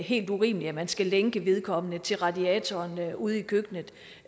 helt urimeligt at man skal lænke vedkommende til radiatoren ude i køkkenet